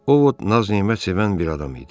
Ovud naz-nemət sevən bir adam idi.